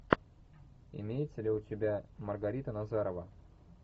имеется ли у тебя маргарита назарова